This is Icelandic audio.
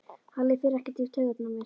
Halli fer ekkert í taugarnar á mér.